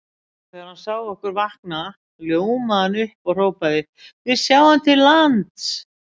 Og þegar hann sá okkur vakna ljómaði hann upp og hrópaði: Við sjáum til lands!